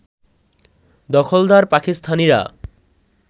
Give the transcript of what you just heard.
দখলদার পাকিস্তানিরা